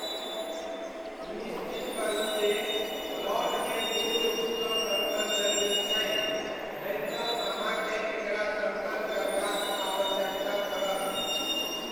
सुनिश्चित करू जे प्लॉटमे पूर्ण रूपसँ समतल जमीन छै, नहि तँ अहाँकेँ एकरा समतल करबाक आवश्यकता पड़त।